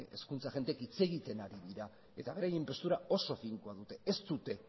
hezkuntza agenteek hitz egiten ari dira eta beraien postura oso finkoa dute ez dute